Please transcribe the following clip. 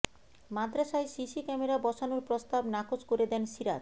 মাদ্রাসায় CC camera বসানোর প্রস্তাব নাকচ করে দেন সিরাজ